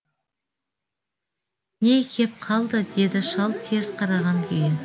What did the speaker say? не кеп қалды деді шал теріс қараған күйі